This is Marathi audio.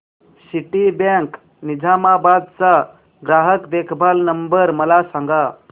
सिटीबँक निझामाबाद चा ग्राहक देखभाल नंबर मला सांगा